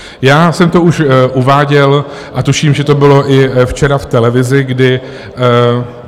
Já jsem to už uváděl a tuším, že to bylo i včera v televizi, kdy...